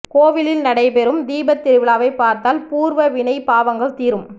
கோவிலில் நடைபெறும் தீபத் திருவிழாவை பார்த்தால் பூர்வ வினை பாவங்கள் தீரும்